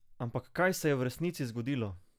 Ampak kaj se je v resnici zgodilo?